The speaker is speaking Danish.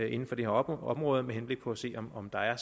inden for det her område med henblik på at se om om der er